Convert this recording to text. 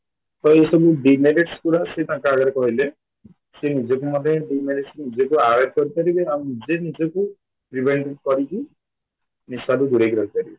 ତ ଏଇ ସବୁ demerits ଗୁଡା ସିଏ ତାଙ୍କ ଆଗରେ କହିଲେ ସିଏ ନିଜକୁ ମଧ୍ୟ demerits ନିଜକୁ avoid କରିପାରିବେ ଆଉ ନିଜେ ନିଜକୁ କରିକି ନିଶାଠୁ ଦୂରେଇକି ରହିପାରିବେ